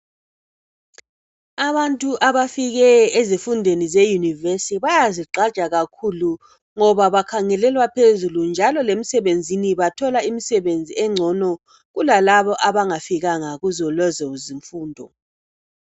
Abantu abafike ezifundweni zeYunivesithi bayazigqaja kakhulu ngoba bakhangelelwa phezulu njalo lemisebenzini bathola imisebenzi engcono kulalabo abangafikanga kuzolezo zifundo.